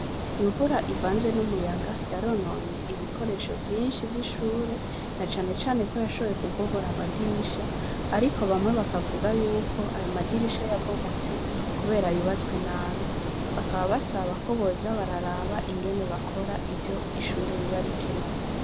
Imvura ivanze n' umuyaga yarononye ibikoresho vyinshi vy' ishure, na cane cane ko twashoboye kubomora amadirisha, ariko bamwe bamwe bavuga yuko ayo madirisha yabomotse Kubera ko yubatswe nabi. Bakaba basaba ko boza bararaba ingene bakora ivyo ishure riba rikeneye.